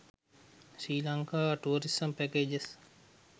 sri lanka tourism packages